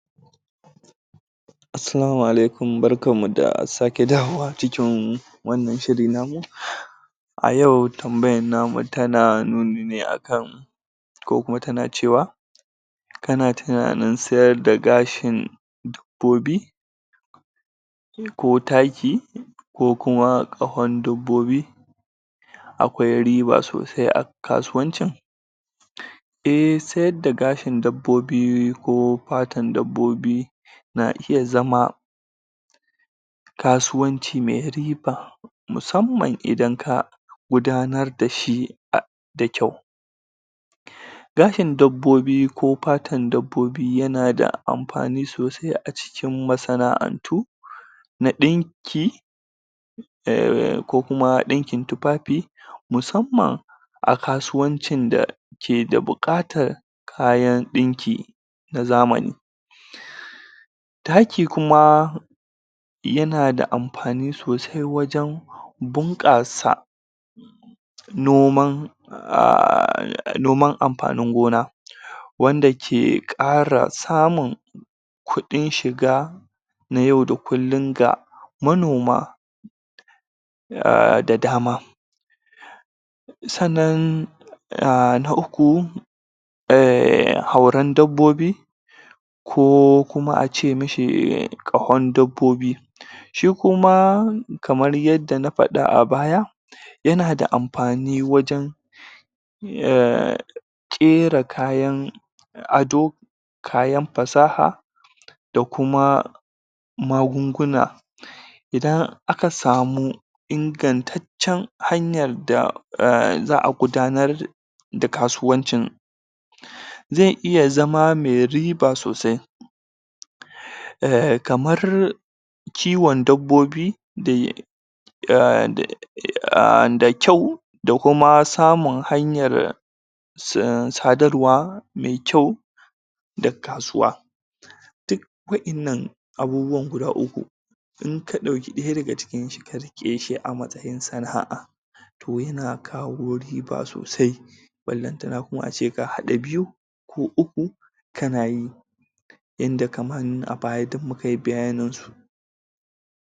? Assalamu Alaikum. Barkan mu da sake dawowa cikin wannan shiri namu.? A yau tambayan namu tana nuni ne a kan,? ko kuma tana cewa,? kana tunanin sayar da gashin dabbobi?? Ko taki?? Ko kuma ƙahon dabbobi?? Akwai riba sosai a kasuwancin?? Eh, sayar da gashin dabbobi ko fatar dabbobi,? na iya zama,? kasuwanci mai riba,? musamman idan ka,? idan ka gudanar dashi da ƙyau.? Gashin dabbobi ko fatar dabbobi ya na da amfani sosai a cikin masana'antu,? na ɗinki,?? ko kuma ɗinkin tufafi,? musamman a kasuwancin da keda buƙatan kayan ɗinki na zamani.? Taki kuma,? yanada amfani sosai wajan,? bunƙasa,? noman,? noman amfanin gona.? Wanda ke ƙara samun,? kuɗin shiga,? na yau da kullum ga manoma,? da dama.? Sannan,? na uku,? hauran dabbobi,? ko kuma ace mishi ƙahon dabbobi.? Shi kuma kamar na faɗa a baya,? ya na da amfani wajan,??? ƙera kayan ado,? kayan fasaha,? da kuma, ?n magunguna.? Idan aka samu ingantaccan hanyar da za'a gudanar da kasuwancin,? zai iya zama mai riba sosai.? Kamar,? kiwon dabbobi,? da kyau da kuma samun hanyar,? sadarwa mai kyau,? da kasuwa.? Duk waƴannan abubuwan guda uku,? in ka ɗauki ɗaya daga cikin shi ka riƙeshi a matsayin sana'a,? toh yana kawo riba sosai,? ballantana kuma ace ka haɗa biyu ko uku kanayi.? Inda kamar a baya duk mukayi bayaninsu.